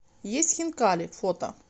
есть хинкали фото